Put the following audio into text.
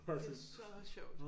Det så sjovt